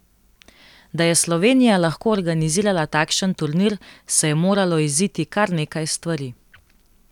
Da je Slovenija lahko organizirala takšen turnir, se je moralo iziti kar nekaj stvari.